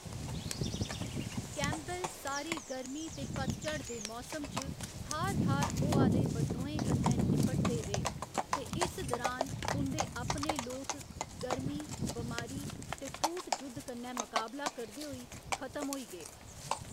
Campbell सारी गर्मी ते पतझड़ दे मौसम च थाह्‌र थाह्‌र होआ दे बद्रोहें कन्ने निपटदे रेह्, ते इस दौरान उं'दे अपने लोक गर्मी, बमारी ते कूट जुद्ध कन्नै मकाबला करदे होई खतम होई गे।